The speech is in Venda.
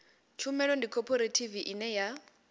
tshumelo ndi khophorethivi ine ya